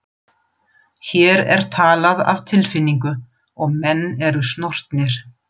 Hér er talað af tilfinningu og menn eru snortnir.